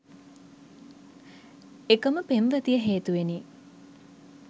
එකම පෙම්වතිය හේතුවෙනි